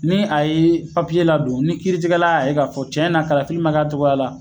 Ni a ye papiye la don ni kiiri tijɛla y'a ye k'a fɔ cɛn na kalafili ma k'a cogoya la